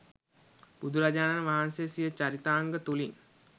බුදුරජාණන් වහන්සේ සිය චරිතාංග තුළින්